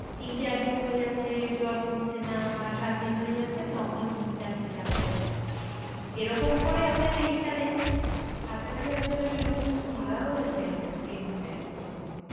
তিন চার দিন হয়ে যাচ্ছে জ্বর কমছে না বা সাত দিন হয়ে যাচ্ছে তখন যাচ্ছে ডাক্তারের কাছে। এরকম করে আমাদের এইখানে কাছাকাছি একজনের এরকম মারাও গেছে একজন ডেঙ্গুতে তখন